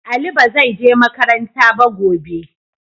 Ali ba zai je makaranta ba gobe.